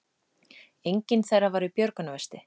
Enginn þeirra var í björgunarvesti